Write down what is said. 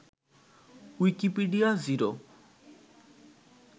Wikipedia zero